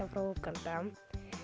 frá Úganda